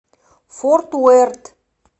форт уэрт